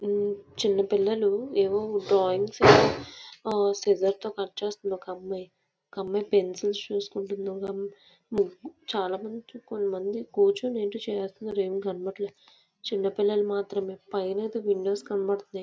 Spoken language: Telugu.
ఈ చిన్న పిల్లలు ఏవో టాయ్స్ సిజేర్స్తో కట్ చేస్తుంది ఒక అమ్మాయి. ఒక అమ్మాయి పెన్సిల్స్ చేసుకుంటుంది. చాలామంది కొంతమంది కూర్చుని ఏవో చేస్తున్నారు చిన్నపిల్లలు మాత్రమే . పైన అయితే విండోస్ కనపడుతున్నాయి.